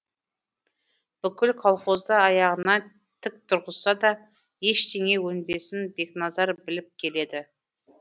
бүкіл колхозды аяғынан тік тұрғызса да ештеңе өнбесін бекназар біліп келеді